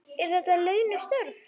Eru þetta launuð störf?